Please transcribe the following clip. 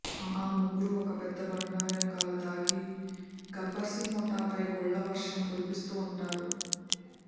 ఆ ముగ్గురూ ఒక పెద్దబండ వెనక దాగి గబ్బర్ సింగ్ ముఠాపై గుళ్ల వర్షం కురిపిస్తూ ఉంటారు